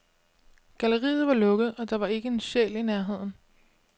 Galleriet var lukket, og der var ikke en sjæl i nærheden.